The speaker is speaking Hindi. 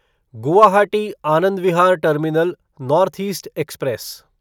Guwahati Anand Vihar terminal north east express